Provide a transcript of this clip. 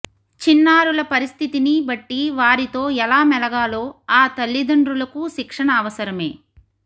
చిన్నారుల పరిస్థితిని బట్టి వారితో ఎలా మెలగాలో ఆ తల్లిదండ్రులకూ శిక్షణ అవసరమే